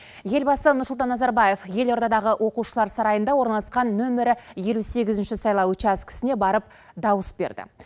елбасы нұрсұлтан назарбаев елордадағы оқушылар сарайында орналасқан нөмірі елу сегізінші сайлау учаскісіне барып дауыс берді